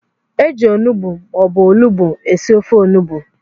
Eji ọnụgbu maọbu ọlugbu esị ofe ọnụgbu.